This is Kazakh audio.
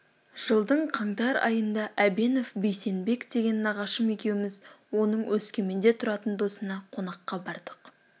жылдың қаңтар айында әбенов бейсенбек деген нағашым екеуміз оның өскеменде тұратын досына қонаққа бардық